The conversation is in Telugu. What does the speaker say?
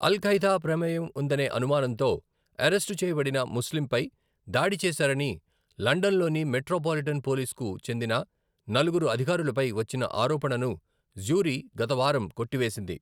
ఆల్ ఖైదా ప్రమేయం ఉందనే అనుమానంతో అరెస్టు చేయబడిన ముస్లింపై దాడి చేసారని లండన్లోని మెట్రోపాలిటన్ పోలీస్కు చెందిన నలుగురు అధికారులపై వచ్చిన ఆరోపణను జ్యూరీ గత వారం కొట్టివేసింది.